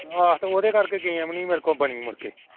ਆਹ ਤੇ ਉਹਦੇ ਕਰਕੇ game ਨੀ ਮੇਰੇ ਕੋਲੋਂ ਬਣੀ ਮੁੜਕੇ